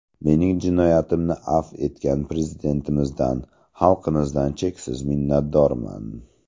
Mening jinoyatimni afv etgan Prezidentimizdan, xalqimizdan cheksiz minnatdorman.